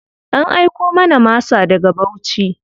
An aiko mana masa daga Bauchi.